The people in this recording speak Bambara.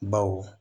Baw